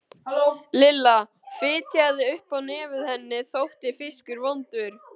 Lilla fitjaði upp á nefið, henni þótti fiskur vondur.